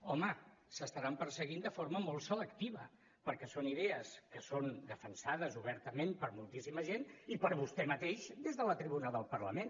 home es deuen estar perseguint de forma molt selectiva perquè són idees que són defensades obertament per moltíssima gent i per vostè mateix des de la tribuna del parlament